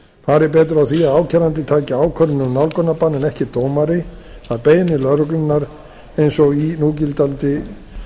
það fari betur á því að ákærandi taki ákvörðun um nálgunarbann en ekki dómari að beiðni lögreglunnar eins og í núgildandi